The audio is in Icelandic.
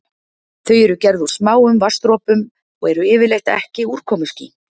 Þau eru gerð úr smáum vatnsdropum og eru yfirleitt ekki úrkomuský.